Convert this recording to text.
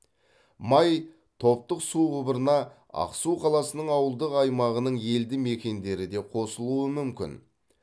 май топтық су құбырына ақсу қаласының ауылдық аймағының елді мекендері де қосылуы мүмкін